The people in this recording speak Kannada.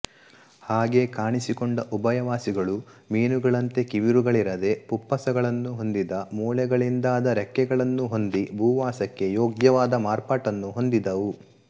ಹಾಗೆ ಕಾಣಿಸಿಕೊಂಡ ಉಭಯವಾಸಿಗಳು ಮೀನುಗಳಂತೆ ಕಿವಿರುಗಳಿರದೆ ಪುಪ್ಪಸಗಳನ್ನು ಹೊಂದಿದ ಮೂಳೆಗಳಿಂದಾದ ರೆಕ್ಕೆಗಳನ್ನು ಹೊಂದಿ ಭೂವಾಸಕ್ಕೆ ಯೋಗ್ಯವಾದ ಮಾರ್ಪಾಟನ್ನು ಹೊಂದಿದವು